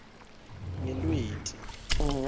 ngelweti